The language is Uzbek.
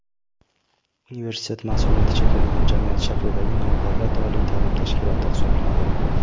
Universitet masʼuliyati cheklangan jamiyat shaklidagi nodavlat oliy taʼlim tashkiloti hisoblanadi.